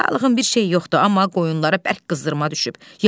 Sağlığın bir şey yoxdur, amma qoyunlara bərk qızdırma düşüb.